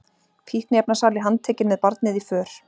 Fíkniefnasali handtekinn með barnið í för